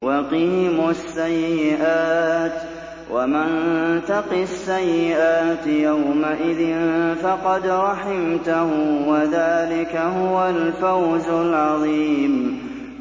وَقِهِمُ السَّيِّئَاتِ ۚ وَمَن تَقِ السَّيِّئَاتِ يَوْمَئِذٍ فَقَدْ رَحِمْتَهُ ۚ وَذَٰلِكَ هُوَ الْفَوْزُ الْعَظِيمُ